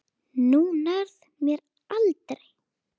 Þú nærð mér aldrei!